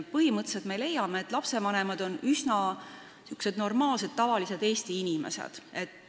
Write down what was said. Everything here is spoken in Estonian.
Me põhimõtteliselt leiame, et lastevanemad on üsna tavalised Eesti inimesed.